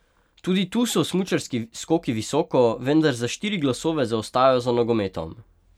Tudi tu so smučarski skoki visoko, vendar za štiri glasove zaostajajo za nogometom.